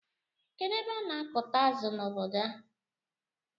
Kedụ ebe ana akuta azụ na ọbọdọ a?